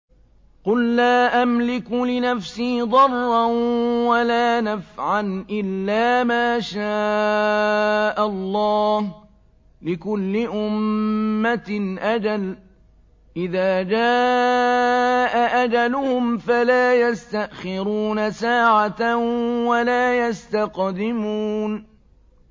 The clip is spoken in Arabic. قُل لَّا أَمْلِكُ لِنَفْسِي ضَرًّا وَلَا نَفْعًا إِلَّا مَا شَاءَ اللَّهُ ۗ لِكُلِّ أُمَّةٍ أَجَلٌ ۚ إِذَا جَاءَ أَجَلُهُمْ فَلَا يَسْتَأْخِرُونَ سَاعَةً ۖ وَلَا يَسْتَقْدِمُونَ